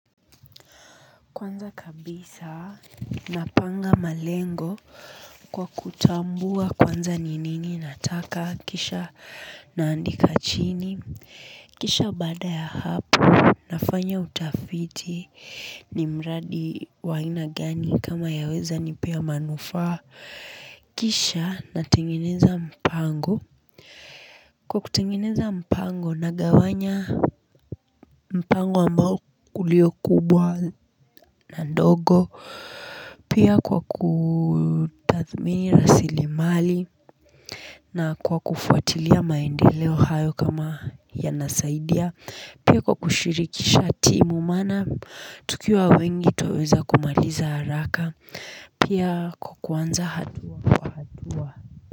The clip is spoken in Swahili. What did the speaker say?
Kwanza kabisa. Napanga malengo kwa kutambua kwanza ni nini nataka kisha naandika chini kisha baada ya hapo. Nafanya utafiti ni mradi wa aina gani kama yaweza nipea manufaa kisha natengeneza mpango kwa kutengeneza mpango na gawanya mpango ambao uliokubwa na ndogo. Pia kwa kutathmini rasilimali na kwa kufuatilia maendeleo hayo kama yanasaidia. Pia kwa kushirikisha timu maana tukiwa wengi twaweza kumaliza haraka. Pia kwa kuanza hatua kwa hatua.